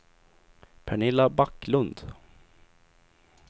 Pernilla Backlund